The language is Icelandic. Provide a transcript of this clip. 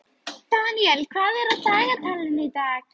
Daniel, hvað er á dagatalinu í dag?